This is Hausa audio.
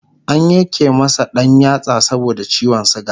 an Yanke masa ɗan yatsa saboda ciwon suga